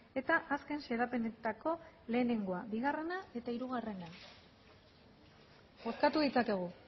eta azken xedapenetako lehenengoa bigarrena eta hirugarrena bozkatu ditzakegu